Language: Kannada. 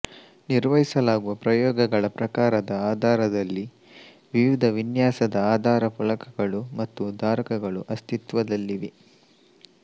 ನಿರ್ವಹಿಸಲಾಗುವ ಪ್ರಯೋಗಗಳ ಪ್ರಕಾರದ ಆಧಾರದಲ್ಲಿ ವಿವಿಧ ವಿನ್ಯಾಸದ ಆಧಾರ ಫಲಕಗಳು ಮತ್ತು ಧಾರಕಗಳು ಅಸ್ತಿತ್ವದಲ್ಲಿವೆ